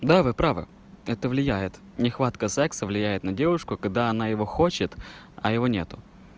да вы правы это влияет нехватка секса влияет на девушку когда она его хочет а его нет